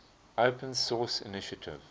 open source initiative